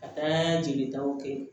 Ka taa jelitaw kɛ